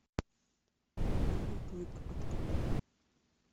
белый клык открой